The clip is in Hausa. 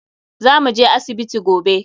Za mu je asibiti gobe.